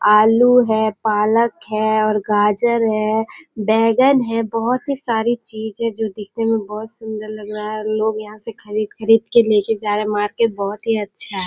आलू है पालक है और गाजर है बैंगन है बहुत सारी चीज जो दिखने में सुंदर लग रहा है लोग यहाँ से खरीद के ले के जा रहे हैं मार्केट बहुत ही अच्छा है।